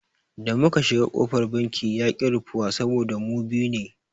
Da muka shiga kofar banki yaƙi rufuwa saboda mu biyu ne.